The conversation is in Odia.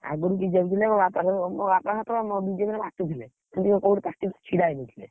ଆଗୁରୁ BJP ଥିଲା ମୋ ବାପାତ ମୋ ବାପା ତ BJP ରେ ମାତିଥିଲେ। ସେ ଟିକେ କୋଉଠି party ରେ ଛିଡା ହେଇଯାଇଥିଲେ।